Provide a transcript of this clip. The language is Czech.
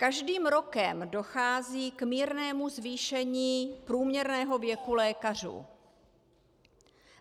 Každým rokem dochází k mírnému zvýšení průměrného věku lékařů.